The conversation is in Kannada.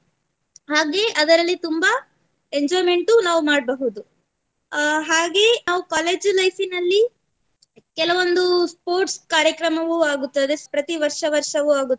ಹಾಗೆ ಅದರಲ್ಲಿ ತುಂಬಾ enjoyment ಉ ನಾವ್ ಮಾಡ್ಬಹುದು ಅಹ್ ಹಾಗೆ ನಾವ್ collage life ನಲ್ಲಿ ಕೆಲವೊಂದು sports ಕಾರ್ಯಕ್ರಮವು ಆಗುತ್ತದೆ ಪ್ರತಿ ವರ್ಷ ವರ್ಷವೂ ಆಗುತ್ತದೆ